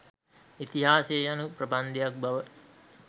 ඉතිහාසය යනු ප්‍රබන්ධයක් බව